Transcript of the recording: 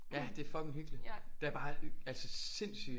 Ja det er fucking hyggeligt der er bare altså sindssygt